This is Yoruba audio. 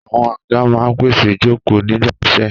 Àwọn àga máa ń pèsè ìjókòó nígbà iṣẹ́.